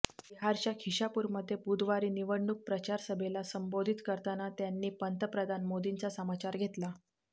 बिहारच्या शिखापूरमध्ये बुधवारी निवडणूक प्रचारसभेला संबोधित करताना त्यांनी पंतप्रधान मोदींचा समाचार घेतला